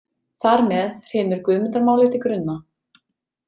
Þar með hrynur Guðmundarmálið til grunna.